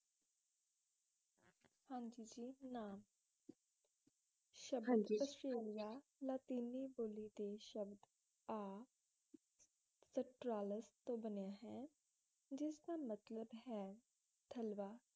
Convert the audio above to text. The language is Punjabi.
ਨਾਮ ਹਾ ਜੀ ਸ਼ਬਦ ਆਸਟ੍ਰੇਲੀਆ ਲਾਤੀਨੀ ਬੋਲੀ ਦੇ ਸ਼ਬਦ ਆ ਸਟਰਾਲਸ' ਤੋਂ ਬਣਿਆ ਹੈ ਜਿਸਦਾ ਮਤਲਬ ਹੈ ਥਲਵਾਂ